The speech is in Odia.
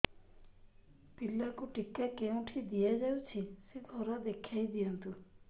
ପିଲାକୁ ଟିକା କେଉଁଠି ଦିଆଯାଉଛି ସେ ଘର ଦେଖାଇ ଦିଅନ୍ତୁ